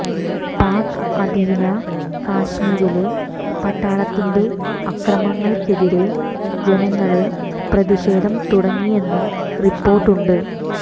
പാക് അധീന കശ്മീരില് പട്ടാളത്തിന്റെ അക്രമങ്ങള്ക്കെതിരെ ജനങ്ങള് പ്രതിഷേധം തുടങ്ങിയെന്നും റിപ്പോര്ട്ടുണ്ട്